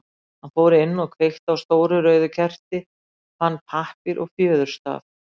Hann fór inn og kveikti á stóru rauðu kerti, fann pappír og fjöðurstaf.